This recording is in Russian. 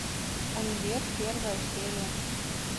универ первая серия